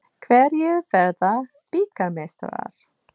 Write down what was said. Hverjir verða bikarmeistarar?